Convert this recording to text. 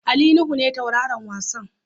Ali Nuhu ne tauraron wasan.